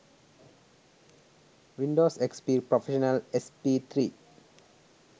windows xp prfessional sp3